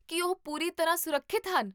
ਕੀ ਉਹ ਪੂਰੀ ਤਰ੍ਹਾਂ ਸੁਰੱਖਿਅਤ ਹਨ?